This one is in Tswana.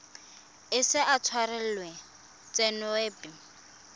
ise a tshwarelwe tshenyo epe